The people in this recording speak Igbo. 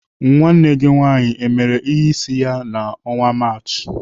Nwanne gị nwaanyị emere ihe isi ya n' ọnwa Maachị?